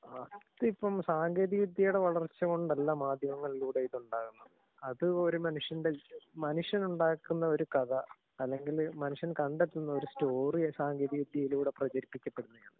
അത് ഇപ്പം സാങ്കേതിക വിദ്യയുടെ വളർച്ച കൊണ്ടല്ലാ മാധ്യമങ്ങളിലൂടെ ഇതുണ്ടാകുന്നത്. അത് ഒരു മനുഷ്യന്റെ മനുഷ്യനുണ്ടാക്കുന്ന ഒരു കഥ അല്ലെങ്കില് മനുഷ്യൻ കണ്ടെത്തുന്ന സ്റ്റോറിയാ സാങ്കേതിക വിദ്യയിലൂടെ പ്രചരിപ്പിക്കപ്പെടുന്നേ.